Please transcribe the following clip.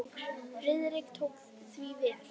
Friðrik tók því vel.